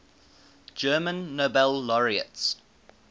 german nobel laureates